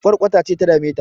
Ƙwarkwata ce ta dame ta